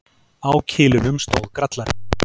Á kilinum stóð Grallarinn.